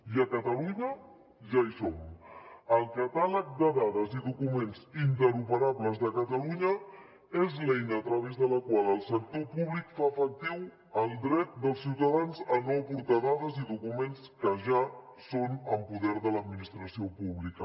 i a catalunya ja hi som el catàleg de dades i documents interoperables de catalunya és l’eina a través de la qual el sector públic fa efectiu el dret dels ciutadans a no aportar dades i documents que ja són en poder de l’administració pública